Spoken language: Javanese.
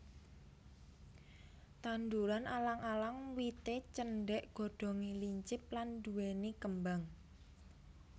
Tanduran alang alang wité cendhék godhongé lincip lan nduwèni kembang